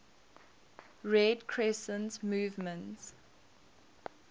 red crescent movement